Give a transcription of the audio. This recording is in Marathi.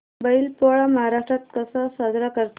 बैल पोळा महाराष्ट्रात कसा साजरा करतात